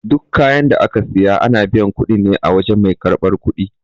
Duk kayan da aka siya, ana biyan kuɗin ne a wajan mai karɓan kuɗi.